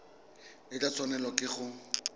o tla tshwanelwa ke go